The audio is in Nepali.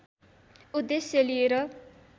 उद्देश्य लिएर